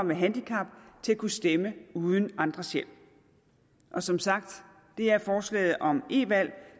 med handicap til at kunne stemme uden andres hjælp og som sagt er forslaget om e valg